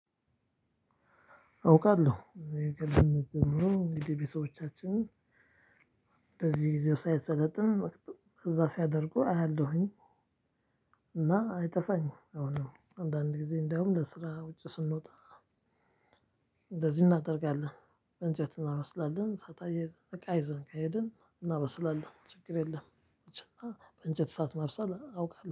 አውቃለሁ ከልጅነት ጀምሮ እንግዲህ ቤተሰቦቻችን እንደዚህ ጊዜው ሳይሰለጥን እዛ ሲያደርጉ አያለሁኝ። እና አይጠፋኝም አሁን አንዳንድ ጊዜ እንደውም ለስራ ውጪ ስንወጣ። እንደዚህ እናደርጋለን እንጨት እናበስላለን እሳት አያይዘን እቃ ይዘን ከሄድን እናበስላለን ችግር የለም። እና በእንጨት ሰዓት ማብሰል አውቃለሁ